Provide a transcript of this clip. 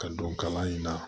Ka don kalan in na